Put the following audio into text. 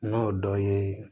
N'o dɔ ye